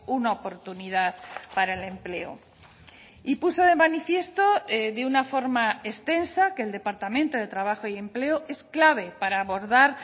una oportunidad para el empleo y puso de manifiesto de una forma extensa que el departamento de trabajo y empleo es clave para abordar